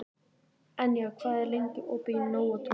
Enja, hvað er lengi opið í Nóatúni?